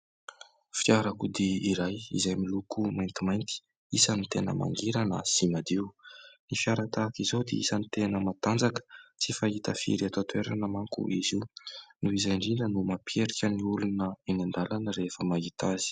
Fiarakodia iray izay miloko maintimainty, isan'ny tena mangirana sy madio. Ny fiara tahaka izao dia isan'ny tena matanjaka. Tsy fahita firy eto an-toerana manko izy io. Noho izay indridra no mampiherika ny olona eny an-dalana rehefa mahita azy.